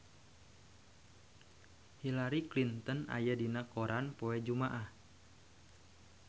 Hillary Clinton aya dina koran poe Jumaah